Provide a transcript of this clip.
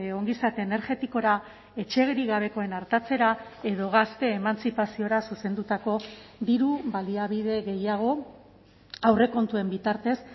ongizate energetikora etxerik gabekoen artatzera edo gazte emantzipaziora zuzendutako diru baliabide gehiago aurrekontuen bitartez